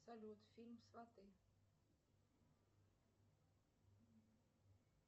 салют фильм сваты